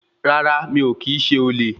Rárá, mi o kìí ṣe olè.